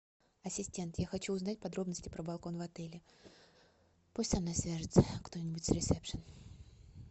ассистент я хочу узнать подробности про балкон в отеле пусть со мной свяжутся кто нибудь с ресепшен